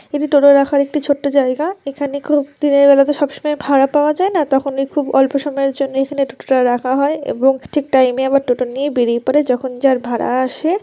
এটা টোটা রাখার একটি ছোট্ট জায়গা এখানে খুব দিনের বেলা তো সবসময় ভাড়া পাওয়া যায় না তখনই খুব অল্প সময়ের জন্য এখানে টোটাটা রাখা হয় এবং ঠিক টাইম -এ আবার টোটো নিয়ে বেরিয়ে পড়ে যখন যার ভাড়া আসে--